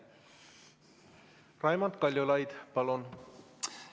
Raimond Kaljulaid, palun!